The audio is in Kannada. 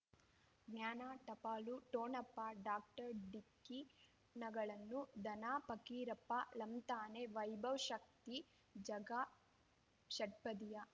ಜ್ಞಾನ ಟಪಾಲು ಠೊಣಪ ಡಾಕ್ಟರ್ ಢಿಕ್ಕಿ ಣಗಳನು ಧನ ಫಕೀರಪ್ಪ ಳಂತಾನೆ ವೈಭವ್ ಶಕ್ತಿ ಝಗಾ ಷಟ್ಪದಿಯ